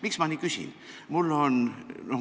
Miks ma nii küsin?